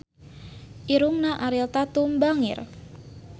Irungna Ariel Tatum bangir